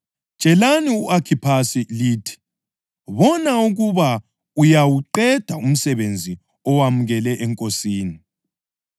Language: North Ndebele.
Tshelani u-Akhiphasi lithi: “Bona ukuba uyawuqeda umsebenzi owamukele eNkosini.”